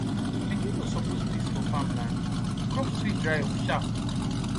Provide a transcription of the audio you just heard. pikin no suppose piss for farm land crops fit dry up sharp